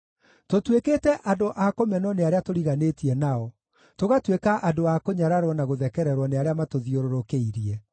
Tũtuĩkĩte andũ a kũmenwo nĩ arĩa tũriganĩtie nao, tũgatuĩka andũ a kũnyararwo na gũthekererwo nĩ arĩa matũthiũrũrũkĩirie.